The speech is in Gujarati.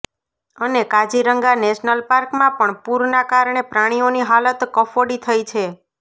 અને કાજીરંગા નેશનલ પાર્કમાં પણ પૂરના કારણે પ્રાણીઓની હાલત કફોડી થઇ છે